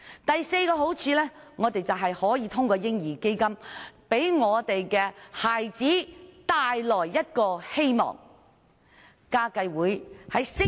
第四個好處是，我們可以透過"嬰兒基金"為孩子帶來希望。